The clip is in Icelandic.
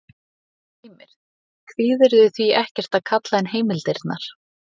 Heimir: Og kvíðirðu því ekkert að kalla inn heimildirnar?